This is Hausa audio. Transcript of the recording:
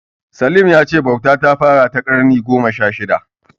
Salim ya ce bauta ta fara a ƙarni na gona sha shida.